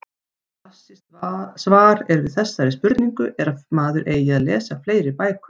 Klassískt svar er við þessari spurningu er að maður eigi að lesa fleiri bækur.